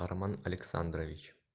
армен александрович